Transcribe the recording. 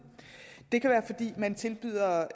det kan være fordi man tilbyder